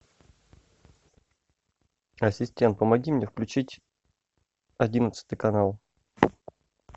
ассистент помоги мне включить одиннадцатый канал